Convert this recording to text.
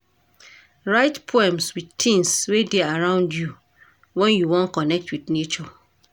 Write poems wit tins wey dey around you wen you wan connect wit nature.